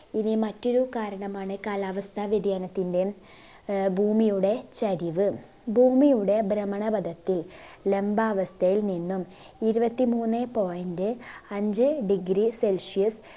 ഇനി മറ്റൊരു കാരണമാണ് കാലാവസ്ഥ വ്യതിയാനതിന്റെ ആഹ് ഭൂമിയുടെ ചരിവ് ഭൂമിയുടെ ബ്രഹ്മണപതത്തിൽ ലംബാവസ്ഥയിൽ നിന്നും ഇരുപത്തിമൂന്നെ point അഞ്ച്‌ degree celsius